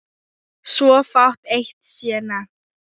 Svo fátt eitt sé nefnt.